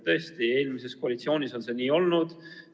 Tõesti, eelmises koalitsioonis on see nii olnud.